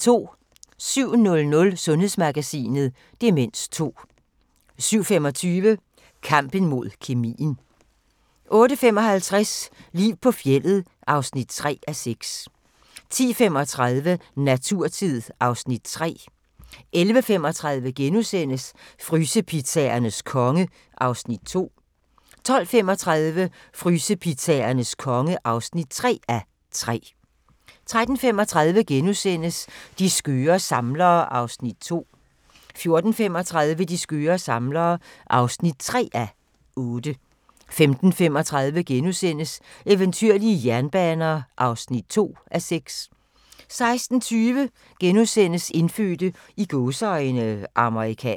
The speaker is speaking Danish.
07:00: Sundhedsmagasinet: Demens 2 07:25: Kampen mod kemien 08:55: Liv på fjeldet (3:6) 10:35: Naturtid (Afs. 3) 11:35: Frysepizzaernes konge (2:3)* 12:35: Frysepizzaernes konge (3:3) 13:35: De skøre samlere (2:8)* 14:35: De skøre samlere (3:8) 15:35: Eventyrlige jernbaner (2:6)* 16:20: Indfødte "amerikanere" *